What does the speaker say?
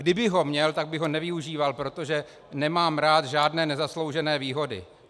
Kdybych ho měl, tak bych ho nevyužíval, protože nemám rád žádné nezasloužené výhody.